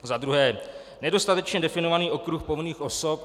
Za druhé nedostatečně definovaný okruh povinných osob.